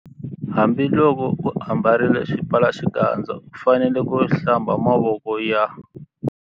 Hambiloko u ambarile xipfalaxikandza u fanele ku- Hlamba mavoko ya.